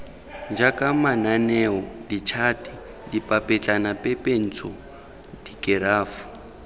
jaaka mananeo ditšhate dipapetlanapepentsho dikerafo